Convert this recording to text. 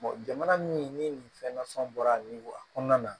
jamana min ni nin fɛn nasɔn bɔra nin waga kɔnɔna na